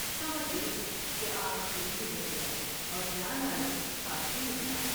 سمجھ گئی کہ آج کھیل بگڑ گیا اور جان عالم ہاتھ سے نکلا ۔